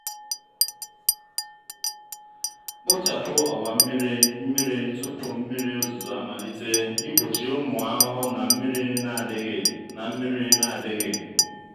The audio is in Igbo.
kpochapụ ọwa mmiri mmiri tupu mmiri ozuzo amalite igbochi ụmụ ahụhụ na mmiri na-adịghị. na mmiri na-adịghị.